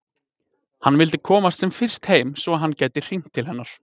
Hann vildi komast sem fyrst heim svo að hann gæti hringt til hennar.